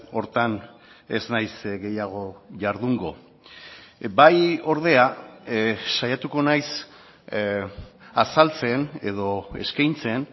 horretan ez nahiz gehiago jardungo bai ordea saiatuko naiz azaltzen edo eskaintzen